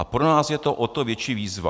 A pro nás je to o to větší výzva.